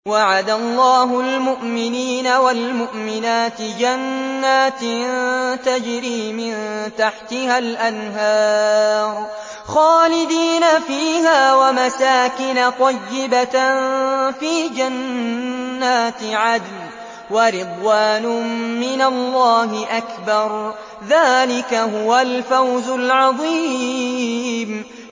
وَعَدَ اللَّهُ الْمُؤْمِنِينَ وَالْمُؤْمِنَاتِ جَنَّاتٍ تَجْرِي مِن تَحْتِهَا الْأَنْهَارُ خَالِدِينَ فِيهَا وَمَسَاكِنَ طَيِّبَةً فِي جَنَّاتِ عَدْنٍ ۚ وَرِضْوَانٌ مِّنَ اللَّهِ أَكْبَرُ ۚ ذَٰلِكَ هُوَ الْفَوْزُ الْعَظِيمُ